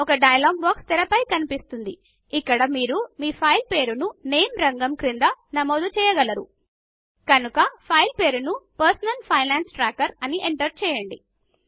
ఒక dialog box తెరపై కనిపిస్తుంది ఇక్కడ మీరు మీ ఫైల్ పేరును నేమ్ రంగం క్రింద నమోదు చేయగలరు కనుక ఫైల్ పేరును పర్సనల్ ఫైనాన్స్ ట్రాకర్ అని ఎంటర్ చేయండి